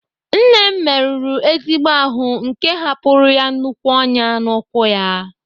Nne m merụrụ ezigbo ahụ nke hapụrụ ya nnukwu ọnyá n'ụkwụ ya.